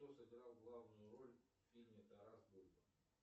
кто сыграл главную роль в фильме тарас бульба